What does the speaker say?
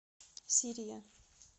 сирия